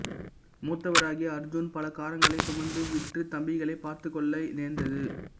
மூத்தவராகிய அர்ஜுனன் பலகாரங்களை சுமந்து விற்று தம்பிகளை பார்த்துக்கொள்ள நேர்ந்தது